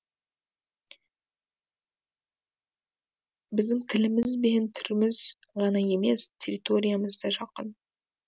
біздің тіліміз бен түріміз ғана емес территориямыз да жақын